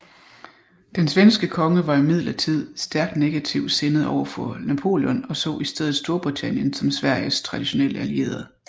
Den svenske konge var imidlertid stærkt negativ sindet over for Napoleon og så i stedet Storbritannien som Sveriges traditionelle allierede